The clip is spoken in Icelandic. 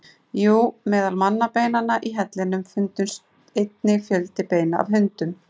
Jú, meðal mannabeinanna í hellinum fundust einnig fjöldi beina af hundum.